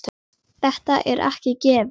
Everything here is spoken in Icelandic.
Þetta er ekki gefins.